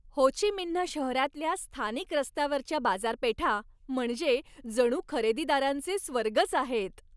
हो Chi Minh शहरातल्या स्थानिक रस्त्यावरच्या बाजारपेठा म्हणजे जणू खरेदीदारांचे स्वर्गच आहेत.